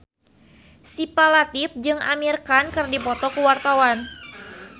Syifa Latief jeung Amir Khan keur dipoto ku wartawan